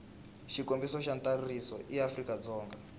xikombelo xa ntsariso eafrika dzonga